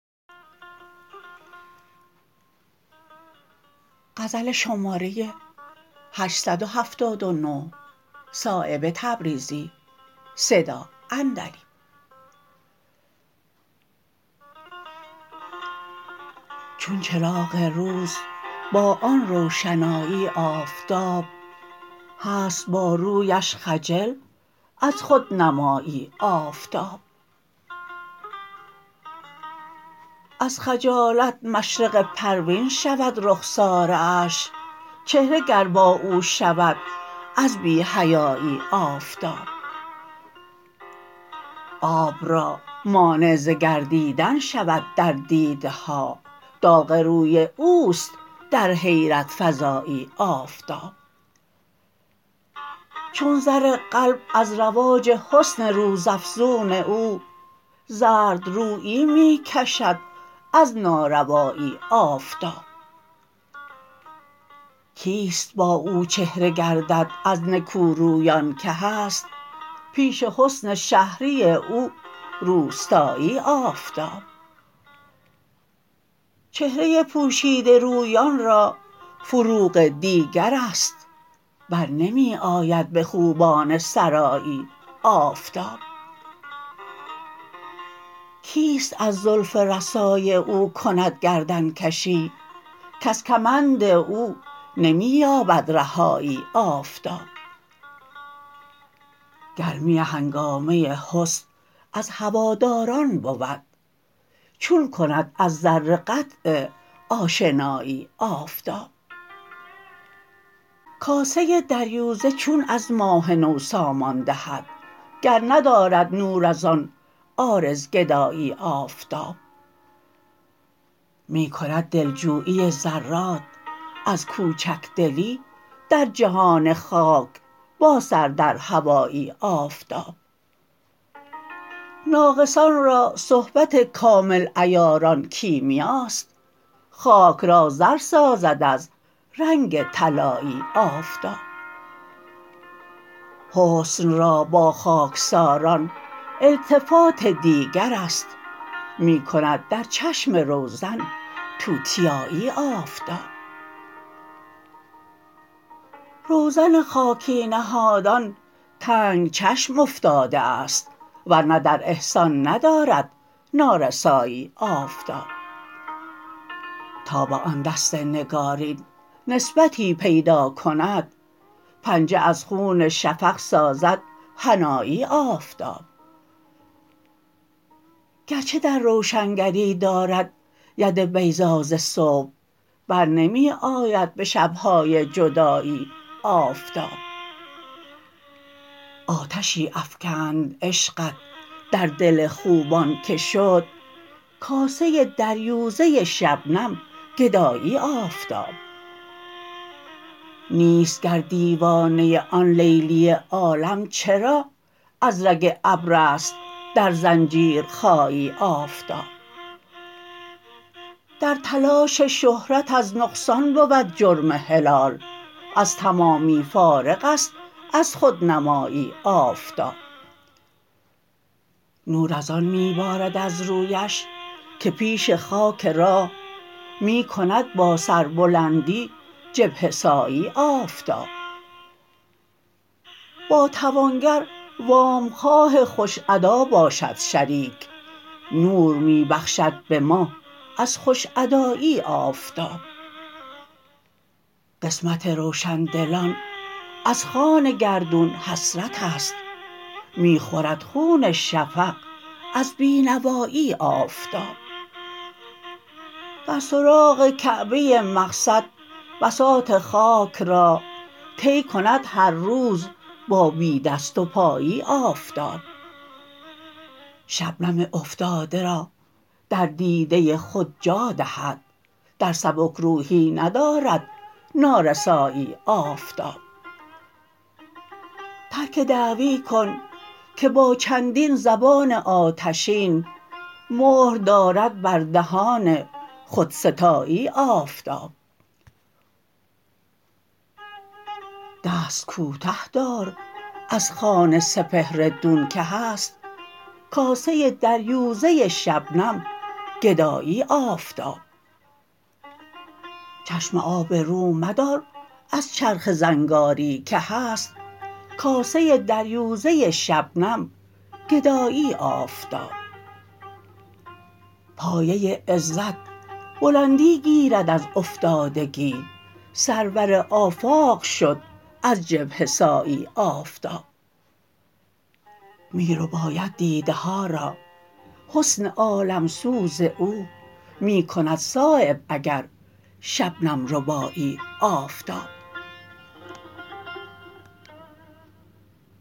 چون چراغ روز با آن روشنایی آفتاب هست با رویش خجل از خودنمایی آفتاب از خجالت مشرق پروین شود رخساره اش چهره گر با او شود از بی حیایی آفتاب آب را مانع ز گردیدن شود در دیده ها داغ روی اوست در حیرت فزایی آفتاب چون زر قلب از رواج حسن روز افزون او زردرویی می کشد از ناروایی آفتاب کیست با او چهره گردد از نکورویان که هست پیش حسن شهری او روستایی آفتاب چهره پوشیده رویان را فروغ دیگرست برنمی آید به خوبان سرایی آفتاب کیست از زلف رسای او کند گردنکشی کز کمند او نمی یابد رهایی آفتاب گرمی هنگامه حسن از هواداران بود چون کند از ذره قطع آشنایی آفتاب کاسه دریوزه چون از ماه نو سامان دهد گر ندارد نور ازان عارض گدایی آفتاب می کند دلجویی ذرات از کوچکدلی در جهان خاک با سر در هوایی آفتاب ناقصان را صحبت کامل عیاران کیمیاست خاک را زر سازد از رنگ طلایی آفتاب حسن را با خاکساران التفات دیگرست می کند در چشم روزن توتیایی آفتاب روزن خاکی نهادان تنگ چشم افتاده است ورنه در احسان ندارد نارسایی آفتاب تا به آن دست نگارین نسبتی پیدا کند پنجه از خون شفق سازد حنایی آفتاب گرچه در روشنگری دارد ید بیضا ز صبح برنمی آید به شبهای جدایی آفتاب آتشی افکند عشقت در دل خوبان که شد کاسه دریوزه شبنم گدایی آفتاب نیست گر دیوانه آن لیلی عالم چرا از رگ ابرست در زنجیرخایی آفتاب در تلاش شهرت از نقصان بود جرم هلال از تمامی فارغ است از خودنمایی آفتاب نور ازان می بارد از رویش که پیش خاک راه می کند با سربلندی جبهه سایی آفتاب با توانگر وامخواه خوش ادا باشد شریک نور می بخشد به ماه از خوش ادایی آفتاب قسمت روشندلان از خوان گردون حسرت است می خورد خون شفق از بینوایی آفتاب در سراغ کعبه مقصد بساط خاک را طی کند هر روز با بی دست و پایی آفتاب شبنم افتاده را در دیده خود جا دهد در سبکروحی ندارد نارسایی آفتاب ترک دعوی کن که با چندین زبان آتشین مهر دارد بر دهان خودستایی آفتاب دست کوته دار از خوان سپهر دون که هست کاسه دریوزه شبنم گدایی آفتاب چشم آب رو مدار از چرخ زنگاری که هست کاسه دریوزه شبنم گدایی آفتاب پایه عزت بلندی گیرد از افتادگی سرور آفاق شد از جبهه سایی آفتاب می رباید دیده ها را حسن عالمسوز او می کند صایب اگر شبنم ربایی آفتاب